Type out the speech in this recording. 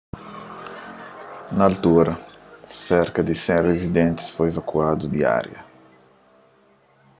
na altura serka di 100 rizidentis foi evakuadu di ária